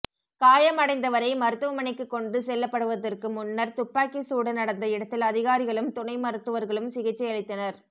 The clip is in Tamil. காயமடைந்தவரை மருத்துவமனைக்கு கொண்டு செல்லப்படுவதற்கு முன்னர் துப்பாக்கிச் சூடு நடந்த இடத்தில் அதிகாரிகளும் துணை மருத்துவர்களும் சிகிச்சை அளித்தனர்